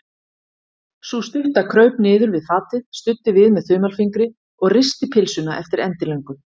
Sú stutta kraup niður við fatið, studdi við með þumalfingri og risti pylsuna eftir endilöngu.